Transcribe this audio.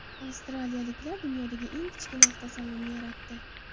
Avstraliyaliklar dunyodagi eng kichkina avtosalonni yaratdi.